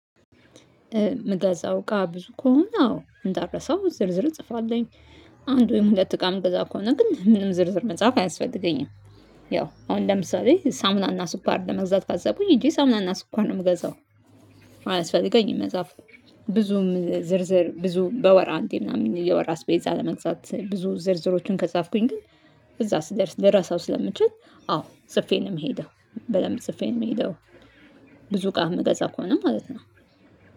ምገዛው እቃ ብዙ ከሆነ ነው አዎ እንዳረሳው ዝርዝር ጽፋለኝ አንድ ወይም ሁለት እቃ ምገዛ ከሆነ ግን ምንም ዝርዝር መጽሐፍ አያስፈልገኝም። ያው አሁን ለምሳሌ ሳሙናና ስኳር ለመግዛት ካሰብሁኝ ሂጂ ሳሙናና ስኳር ነው የምገዛው። አላስፈልገኝም መጽሐፉ ብዙም ዝርዝር ብዙም በወር አንተ ምናምን የወር አስፔዛ ለመግዛት ብዙ ዝርዝሮቹን ከጻፍኩኝ ግን እዛ ስደርስ ልረሳው ስለምችል። አዎ ጽፌ ነው የምሄደው በደንብ ጽፌን የምሄደው። ብዙ እቃ የምገዛ ከሆነ ማለት ነው።